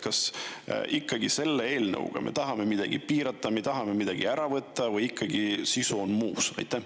Kas me selle eelnõuga tahame ikkagi midagi piirata, tahame midagi ära võtta või on selle sisu muus?